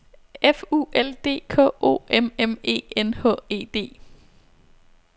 F U L D K O M M E N H E D